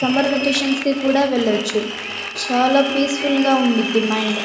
Summer vacations కి కూడా వెళ్లొచ్చు. చాలా పీస్ ఫుల్ గా ఉంటుంది మైండ్ .